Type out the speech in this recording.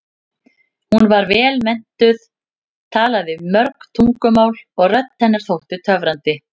Hún var vel menntuð, talaði mörg tungumál og rödd hennar þótti töfrandi.